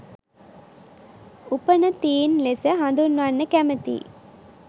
උපනතීන් ලෙස හදුන්වන්න කැමතියි.